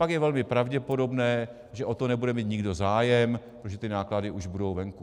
Pak je velmi pravděpodobné, že o to nebude mít nikdo zájem, protože ty náklady už budou venku.